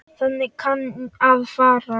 Þannig kann að fara.